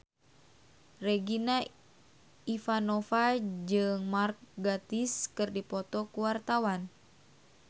Regina Ivanova jeung Mark Gatiss keur dipoto ku wartawan